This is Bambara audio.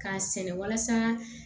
K'a sɛnɛ walasa